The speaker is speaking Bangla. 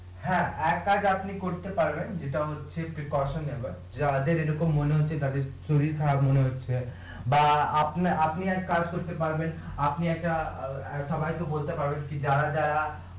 হ্যাঁ, এক কাজ আপনি করতে পারবেন যেটা হচ্ছে যাদের এরকম মনে হচ্ছে তাদের শরির খারাপ মনে হচ্ছে বা আপনি আপনি একটা কাজ করতে পারবেন আপনি একটা অ্যাঁ সবাই কে বলতে পারবেন কি যারা যারা